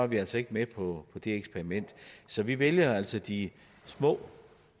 vi altså ikke med på det eksperiment så vi vælger altså de små